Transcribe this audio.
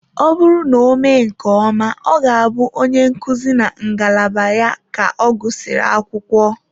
Ọ bụrụ na ọ mee nke ọma, ọ ga-abụ onye nkuzi na ngalaba ya ka ọ gụsịrị akwụkwọ.